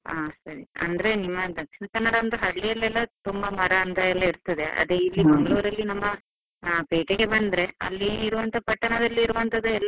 ಹಾ ಸರಿ, ಅಂದ್ರೆ ನಿಮ್ಮ ದಕ್ಷಿಣ ಕನ್ನಡ ಅಂತ ಹಳ್ಳಿಯಲ್ಲೆಲ್ಲ ತುಂಬಾ ಮರ ಅಂತ ಇರ್ತದೆ ಅದೇ ಮಂಗಳೂರಲ್ಲಿ ನಮ್ಮ ಪೇಟೆಗೆ ಬಂದ್ರೆ ಅಲ್ಲಿ ಇರುವಂತ ಪಟ್ಟಣದಲ್ಲಿ ಇರುವಂತದೆ.